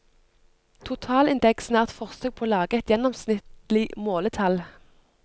Totalindeksen er et forsøk på å lage et gjennomsnittlige måletall.